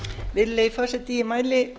virðulegi forseti ég mæli